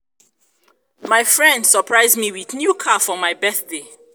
my friend surprise me with new car for my birthday